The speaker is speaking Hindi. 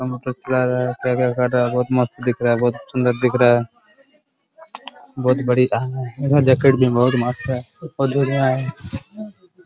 कंप्यूटर चला रहा है क्या क्या कर रहा है | बहुत मस्त दिख रहा है | बहुत सुन्दर दिख रहा है | बहुत बढ़िया है इधर जैकेट भी बहुत मस्त है और जो भी है --